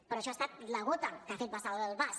però això ha estat la gota que ha fet vessar el vas